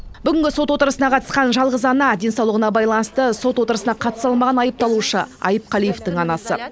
бүгінгі сот отырысына қатысқан жалғыз ана денсаулығына байланысты сот отырысына қатыса алмаған айыпталушы айыпқалиевтің анасы